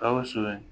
Gawusu ye